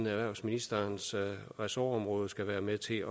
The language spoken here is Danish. erhvervsministerens ressortområde skal være med til